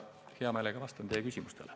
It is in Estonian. Vastan hea meelega teie küsimustele.